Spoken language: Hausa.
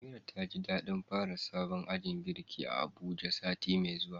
Amira taji dadin fara sabon ajin girki a Abuja sati mai zuwa.